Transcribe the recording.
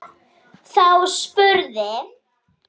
Þá spurði